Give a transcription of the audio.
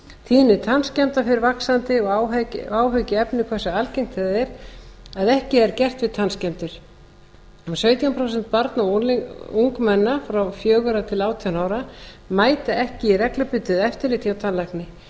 tíðni tannskemmda fer vaxandi og áhyggjuefni hversu algengt það er að ekki er gert við tannskemmdir um sautján prósent barna og ungmenna frá fjórum á til átján ára mæta ekki í reglubundið eftirlit hjá